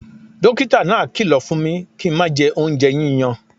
Dókítà náà kìlọ̀ fún mi kí n má jẹ oúnjẹ yíyan